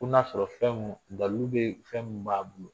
Ko n'a sɔrɔ fɛn munnu, dalilu bɛ fɛn minnu b'a bolo.